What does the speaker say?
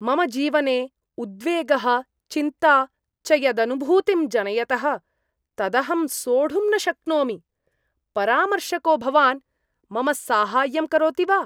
मम जीवने उद्वेगः चिन्ता च यदनुभूतिं जनयतः तदहं सोढुं न शक्नोमि परामर्शको भवान् मम साहाय्यं करोति वा?